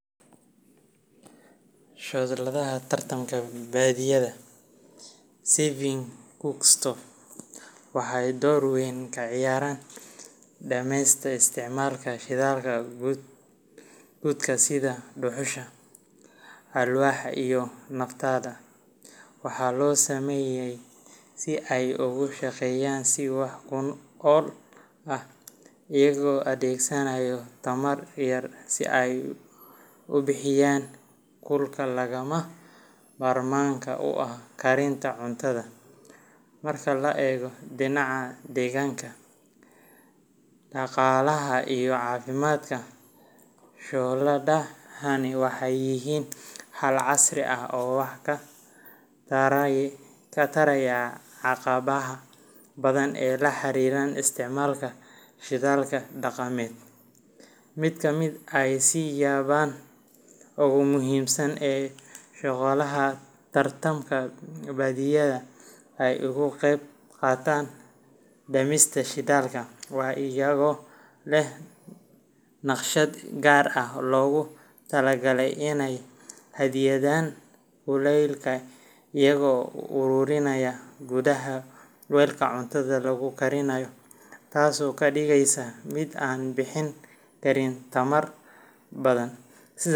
Shooladaha tamarta badbaadiya energy saving cookstoves waxay door weyn ka ciyaaraan dhimista isticmaalka shidaalka gubta sida dhuxusha, alwaaxda, iyo naftada. Waxaa loo sameeyay si ay ugu shaqeeyaan si wax ku ool ah, iyagoo adeegsanaya tamar yar si ay u bixiyaan kulka lagama maarmaanka u ah karinta cuntada. Marka laga eego dhinaca deegaanka, dhaqaalaha, iyo caafimaadka, shooladahani waxay yihiin xal casri ah oo wax ka taraya caqabadaha badan ee la xiriira isticmaalka shidaalka dhaqameed. Mid ka mid ah siyaabaha ugu muhiimsan ee shooladaha tamarta badbaadiya ay uga qeyb qaataan dhimista shidaalka waa iyagoo leh naqshad si gaar ah loogu talagalay inay xaddidaan tirada shidaalka loo baahan yahay. Tusaale ahaan, shooladaha noocan ah waxay si fiican u xakameeyaan kulaylka iyagoo u ururiya gudaha weelka cuntada lagu karinayo, taasoo ka dhigaysa mid aan bixin karin tamar badan.